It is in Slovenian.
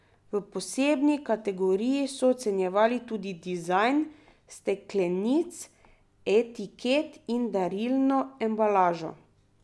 V posebni kategoriji so ocenjevali tudi dizajn steklenic, etiket in darilno embalažo.